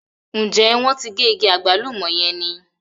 Ǹjẹ́ wọ́n ti gé igi àgbálùmọ̀ yẹn ni?